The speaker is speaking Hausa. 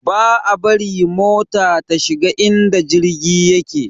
Ba a bari mota ta shiga inda jirgi yake